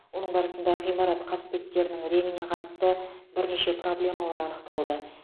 оның барысында ғимарат қасбеттерінің реңіне қатысты бірнеше проблемалар анықталды